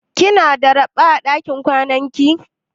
Kina da raɓa a dakin kwanan ki?